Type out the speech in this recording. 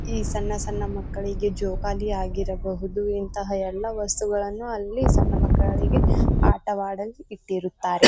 ಈ ಸಣ್ಣ ಸಣ್ಣ ಮಕ್ಕಳಿಗೆ ಜೋಕಾಲಿ ಆಗಿರಬಹುದು ಇಂತಹ ಎಲ್ಲ ವಸ್ತುಗಳ್ಳನ್ನು ಅಲ್ಲಿ ಸಣ್ಣ ಮಕ್ಕಳಿಗೆ ಆಟ ವಾಡಲು ಇಟ್ಟಿರುತ್ತಾರೆ.